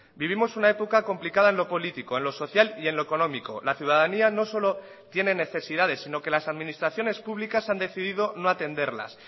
vivimos una época complicada en lo político en lo social y en lo económico la ciudadanía no solo tiene necesidades sino que las administraciones públicas han decidido no atenderlas